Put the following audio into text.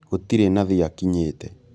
Gũtirĩ nathi akinyĩte